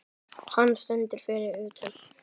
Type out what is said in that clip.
Hann stendur fyrir utan.